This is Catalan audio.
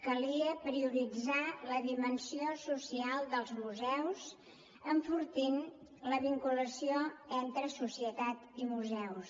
calia prioritzar la dimensió social dels museus enfortint la vinculació entre societat i museus